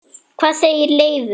Hvað segir Leifur?